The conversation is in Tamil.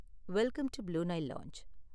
Welcome to Blue Nile lounge.